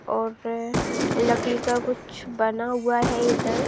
और लकड़ी का कुछ बना हुआ है इधर।